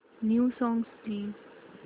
new songs please